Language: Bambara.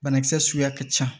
Banakisɛ suguya ka ca